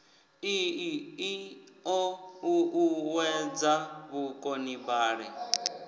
ii i o uuwedza vhukonibale